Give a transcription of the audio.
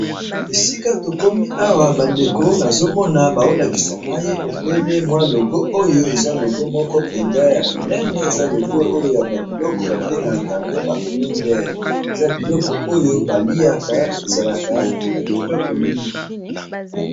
esika tokomi awa bandeko nazomona baolakisa ngai ebele mwa logo oyo eza logo moko mpenza ya monene eza logo oyo ya babiloko babengaka yango ba prinler eza ya biloko oyo baliaka ezalaka na kitoko mingi